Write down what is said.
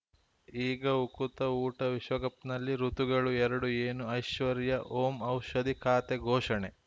ಈಗ ಉಕುತ ಊಟ ವಿಶ್ವಕಪ್‌ನಲ್ಲಿ ಋತುಗಳು ಎರಡು ಏನು ಐಶ್ವರ್ಯಾ ಓಂ ಔಷಧಿ ಖಾತೆ ಘೋಷಣೆ